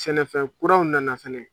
Sɛnɛfɛn kuraw nana fɛnɛ